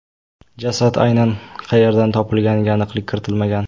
Jasad aynan qayerdan topilganiga aniqlik kiritilmagan.